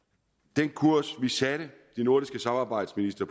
den kurs de nordiske samarbejdsministre